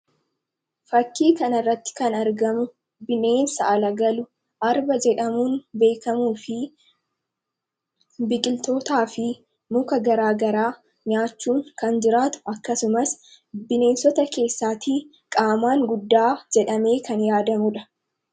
Fakkii kana irratti kan argamu bineensa ala galu arba jedhamuun beekamuu fi biqiltootaa fi muka garaagaraa nyaachuun kan jiraatu akkasumas bineensota keessaatii qaamaan guddaa jedhamee kan yaadamudha.